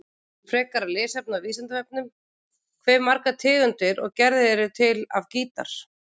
Frekara lesefni á Vísindavefnum: Hve margar tegundir og gerðir eru til af gítar?